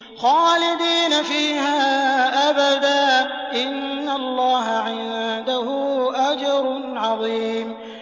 خَالِدِينَ فِيهَا أَبَدًا ۚ إِنَّ اللَّهَ عِندَهُ أَجْرٌ عَظِيمٌ